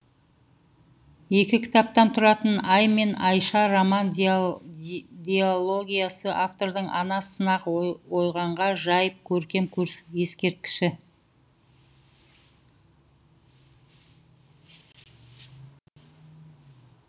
екі кітаптан тұратын ай мен айша роман дилогиясы автордың ана сынақ ойғанға жайып көркем ескерткіші